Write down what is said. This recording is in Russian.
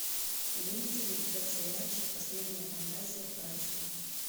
имеется ли у тебя сериальчик последняя фантазия братства